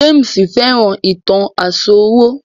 James fẹ́ràn ìtàn àsòrọ